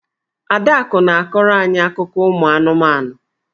Adaku na-akọrọ any akụkọ ụmụ anụmanụ.